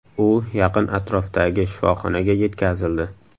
U yaqin atrofdagi shifoxonaga yetkazildi.